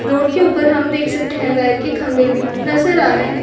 Road के ऊपर हम देख सकते है वेयर के खम्भे भी नजर आ रहे है।